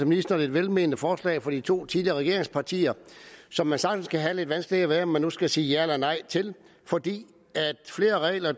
ministeren et velmenende forslag fra de to tidligere regeringspartier som man sagtens kan have lidt vanskeligheder ved om man nu skal sige ja eller nej til fordi flere regler